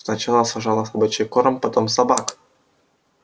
сначала сожрала собачий корм потом собак